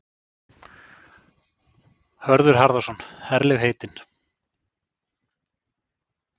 Hörður Harðarson: Herlegheitin?